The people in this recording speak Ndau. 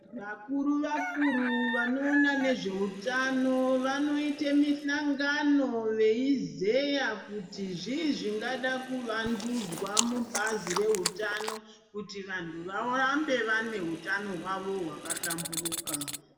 Vakuru vakuru vanoona neeutano vanoite misangano veizeya kuti zvii zvingada kuvandudzwa mubazi reutano kuti vanthu varambe vane hutano hwavo hwakahlamburuka.